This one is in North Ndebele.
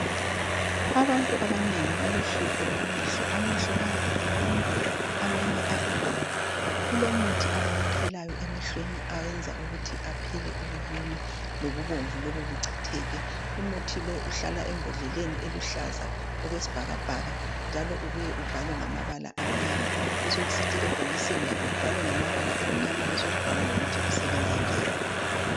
Abantu abanengi balohlupho lwamehlo. Amehlo ayabe eluma amanye abebomvu. Kulomuthi abawuthelayo emehlweni oyenza ukuthi aphele ukuluma lobubomvu lobu buchitheke. Umuthi lo uhlala embodleleni eluhlaza okwesibhakabhaka njalo ubuye ubhalwe ngamabala amnyama. Lokusebhokisini lakho kubhalwe ngamabala amnyama besokubhalwa lokuthi kusebenza njani.